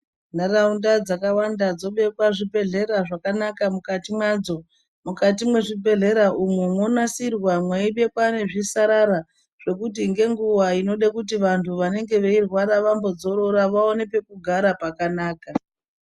Nharaunda dzakawanda dzobekwa zvibhehlera zvakanaka mukati mwadzo. Mukati mwezvibhehlera umwo mwonasirwa mweibekwa nezvisarara zvekuti ngenguwa inode kuti vantu vanenge veirwara vambodzorora vaone pekugara pakanaka.